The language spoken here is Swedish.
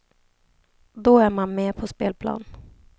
Då är man med på spelplan.